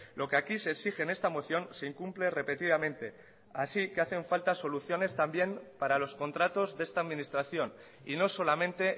lo que aquí se exige en esta moción se incumple repetidamente así que hacen falta soluciones también para los contratos de esta administración y no solamente